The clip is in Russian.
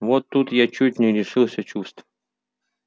вот тут я чуть не лишился чувств